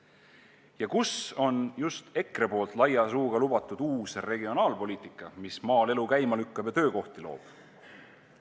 Ja kus on just EKRE poolt laia suuga lubatud uus regionaalpoliitika, mis maal elu käima lükkab ja töökohti loob?